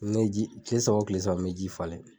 Kile saba wo kile saba n be ji falen.